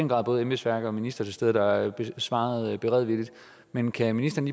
var både embedsværk og minister til stede der svarede beredvilligt men kan ministeren